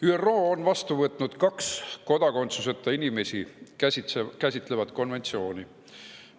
ÜRO on vastu võtnud kaks kodakondsuseta inimesi käsitlevat konventsiooni.